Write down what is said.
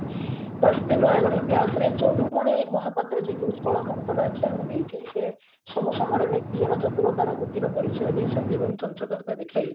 ତ ସେଇ ନୟାଗଡ ଇତିହାସରେ ଯଦୁମଣି ମହାପାତ୍ର ଯିଏ କି ଉତ୍କଳଘଣ୍ଟର ଆଖ୍ୟା ଆମେ ଦେଇଛେ ସବୁ ସମୟରେ ନିଜର ଚତୁରତାର ବୁଦ୍ଧିର ପରିଚୟ ଦେଇଛନ୍ତି ଏବଂ ଚଞ୍ଚଳତା ଦେଖାଇ